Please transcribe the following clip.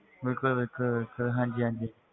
ਬਿਲਕੁਲ ਬਿਲਕੁਲ ਬਿਲਕੁਲ ਹਾਂਜੀ ਹਾਂਜੀ,